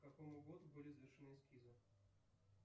к какому году были завершены эскизы